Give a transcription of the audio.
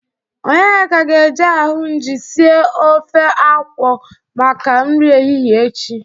Onyeka ga-eje ahụnjị sie ofe akwụ maka nri ehihe echi.